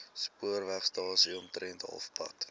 spoorwegstasie omtrent halfpad